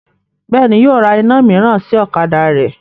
Bẹ́ẹ̀ni, yóò ra iná mìíràn sí ọ̀kadà rẹ́